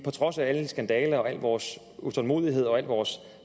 trods af alle skandaler al vores utålmodighed og al vores